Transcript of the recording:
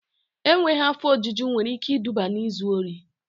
Enweghị afọ ojuju nwere ike iduba n'izu ori